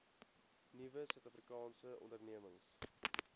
nuwe suidafrikaanse ondernemings